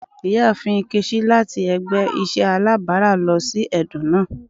Iyaafin Nkechi lati ẹgbẹ iṣẹ alabara lọ si ẹdun naa.